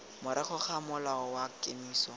morago ga mola wa kemiso